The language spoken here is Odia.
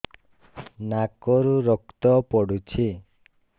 ନାକରୁ ରକ୍ତ ପଡୁଛି